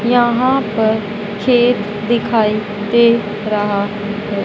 यहां पर खेत दिखाई दे रहा है।